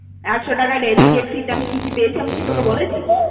একশো টাকা delegate তে আমি কি কি পেয়েছি, আমি কি তোকে বলেছি?